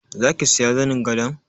Zaki siya zanin gadon?